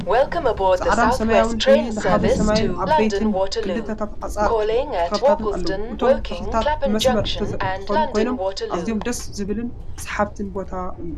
ፃዕዳን ሰማያዊን ሕብሪ ዝሓዘ ሰማይን ዓበይቲንተ ክልታትን ሓፀርት ተክልታትን ኣለው ። እቶም ተክልታት ብመስመር ዝተተከሉ ኮይኖም ኣዝዮም ደስ ዝብልን ስሓብን ቦታ እዩ።